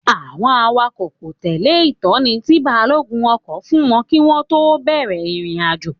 Àwọn awakọ̀ kò tẹ̀lé ìtọ́ni tí balógun ọkọ̀ fún wọn kí wọ́n tó bẹ̀rẹ̀ ìrìnàjò